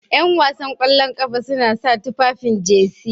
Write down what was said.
Yan wasan ƙwallon ƙafa suna sa tufafin Jersey.